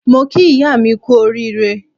Mo kí ìyá mi kú oríire.